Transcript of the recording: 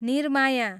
निर्माया